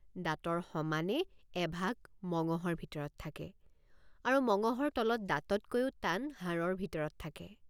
দাঁতৰ সমানে এভাগ মঙহৰ ভিতৰত থাকে আৰু মঙহৰ তলত দাঁততকৈও টান হাড়ৰ ভিতৰত থাকে।